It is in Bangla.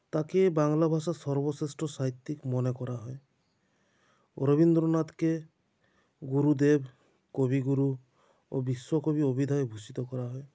তাঁকে বাংলা ভাষার সর্বশ্রেষ্ট সাহিত্যিক মনে করা হয় ও রবীন্দ্রনাথকে গুরুদের কবিগুরু ও বিশ্বকবি অভিধায় ভূষিত করা হয়